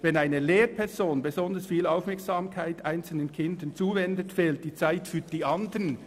Wenn eine Lehrperson besonders viel Aufmerksamkeit einzelnen Kindern zuwendet, fehlt die Zeit für die anderen.